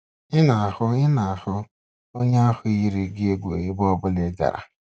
Ị na-ahụ Ị na-ahụ onye ahụ yiri gị egwu ebe ọ bụla ị gara.